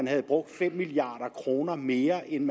havde brugt fem milliard kroner mere end